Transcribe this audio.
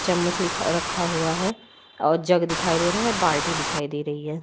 चम्मच लिखा रखा हुआ है और जग दिखाई दे रहा है और बाल्टी दिखाई दे रही है।